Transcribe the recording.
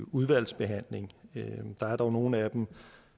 udvalgsbehandling der er dog nogle af dem